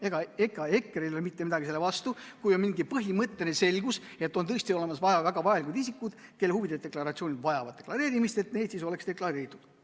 Ega EKRE-l ei ole mitte midagi selle vastu, kui on mingi põhimõtteline selgus, et on tõesti olemas väga olulised isikud, kelle huvid vajavad deklareerimist, et need siis oleks deklareeritud.